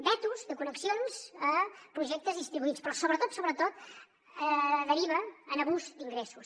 vetos de connexions a projectes distribuïts però sobretot deriva en abús d’ingressos